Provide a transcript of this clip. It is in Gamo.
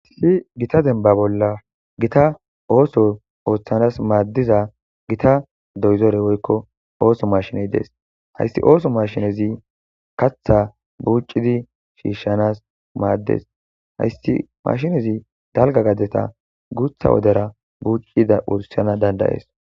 hasi gita denba bolla gita ooso ooththanas maaddiza gita doyzore woykko ooso mashiney dees hayssi ooso mashinezi katha buucidi shiishshanas maaddes hayssi mashinezi dalga gaddeta guutha wodera buuccida wurishana dandayees